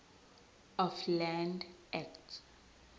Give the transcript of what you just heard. of land act